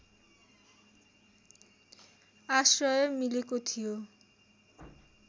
आश्रय मिलेको थियो